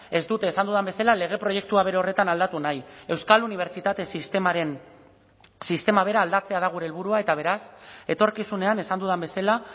ez dute esan dudan bezala lege proiektua bere horretan aldatu nahi euskal unibertsitate sistemaren sistema bera aldatzea da gure helburua eta beraz etorkizunean esan dudan bezala